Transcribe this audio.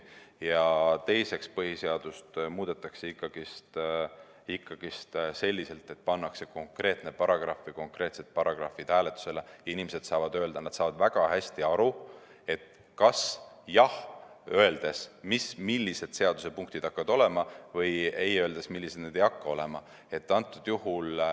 Teiseks, põhiseadust muudetakse ikkagi selliselt, et pannakse hääletusele konkreetne paragrahv või konkreetsed paragrahvid, nii et inimesed saaksid öelda, et nad saavad väga hästi aru, et kui öelda jah, siis millised seadusepunktid hakkavad olema, või kui öelda ei, siis millised need ei hakka olema.